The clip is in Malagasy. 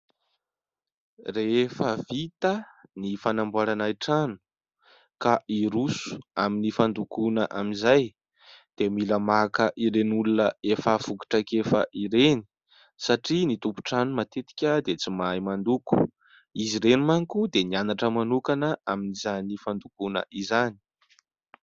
Rehefa vita ny fanamboarana ny trano ka hiroso amin'ny fandokoana amin'izay, dia mila maka ireny olona efa voky traikefa ireny, satria ny tompo-trano matetika dia tsy mahay mandoko. Izy ireny manko dia nianatra manokana amin'izany fandokoana izany.